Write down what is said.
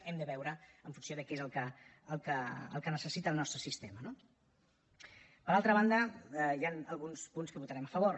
hem de veure en funció de què és el que necessita el nostre sistema no per altra banda hi han alguns punts que votarem a favor